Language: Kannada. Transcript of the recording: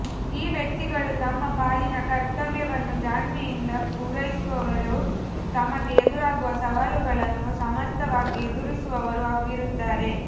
ಈ ವ್ಯಕ್ತಿಗಳು ತಮ್ಮ ಪಾಲಿನ ಕರ್ತ್ಯವ್ಯವನ್ನು ಜಾಣ್ಮೆಯಿಂದ ಪೂರೈಸುವವರೂ ತಮಗೆ ಎದುರಾಗುವ ಸವಾಲುಗಳನ್ನು ಸಮರ್ಥವಾಗಿ ಎದುರಿಸುವವರೂ ಆಗಿರುತ್ತಾರೆ